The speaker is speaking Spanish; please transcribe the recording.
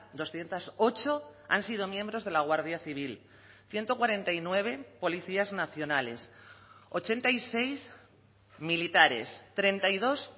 doscientos ocho han sido miembros de la guardia civil ciento cuarenta y nueve policías nacionales ochenta y seis militares treinta y dos